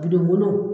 Bilen wolon